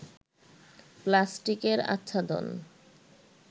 প্লাস্টিকের আচ্ছাদন